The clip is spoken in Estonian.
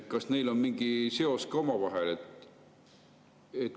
Kas neil on mingi seos ka omavahel?